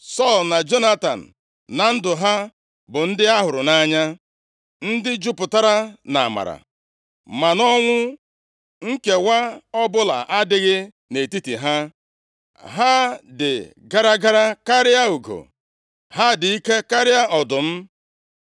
Sọl na Jonatan, na ndụ ha bụ ndị a hụrụ nʼanya. Ndị jupụtara nʼamara. Ma nʼọnwụ, nkewa ọbụla adịghị nʼetiti ha. Ha dị gara gara karịa ugo. Ha dị ike karịa ọdụm.